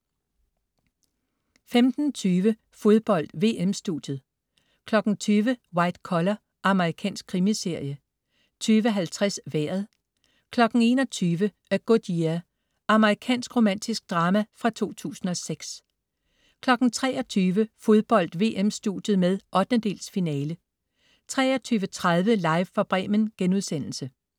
15.20 Fodbold: VM-studiet 20.00 White Collar. Amerikansk krimiserie 20.50 Vejret 21.00 A Good Year. Amerikansk romantisk drama fra 2006 23.00 Fodbold: VM-studiet med 1/8-finale 23.30 Live fra Bremen*